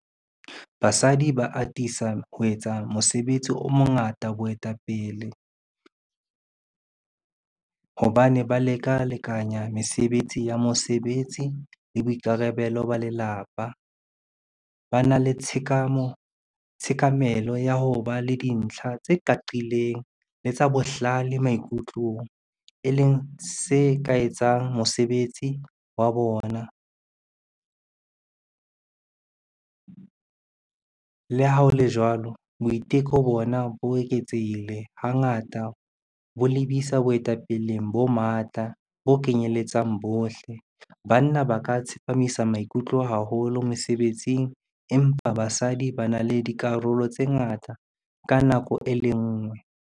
Basadi ba atisa ho etsa mosebetsi o mongata boetapele, hobane ba leka lekanya mesebetsi ya mosebetsi le boikarabelo ba lelapa. Ba na le tshekamelo ya ho ba le dintlha tse qaqileng le tsa bohlale maikutlong, e leng se ka etsang mosebetsi wa bona. Le ha ho le jwalo, boiteko bona bo eketsehile hangata bo lebisa boetapeleng bo matla bo kenyeletsang bohle. Banna ba ka tsepamisa maikutlo haholo mesebetsing, empa basadi ba na le dikarolo tse ngata ka nako e le nngwe.